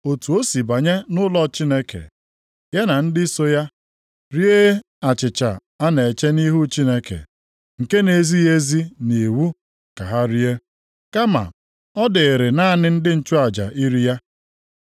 Otu o si banye nʼụlọ Chineke, ya na ndị so ya, rie achịcha a na-eche nʼihu Chineke, nke na-ezighị ezi nʼiwu ka ha rie, kama ọ dịịrị naanị ndị nchụaja iri ya.